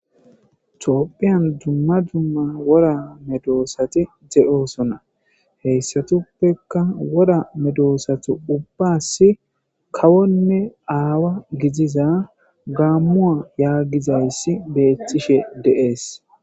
toophiyan dumma dumma wora medoosati de7oosona heyssatuppekka wora medoosati ubbas kawonne aawa gidiza gaammuwa yaagizayssi beettishe de7ees.